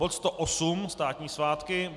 bod 108 - státní svátky;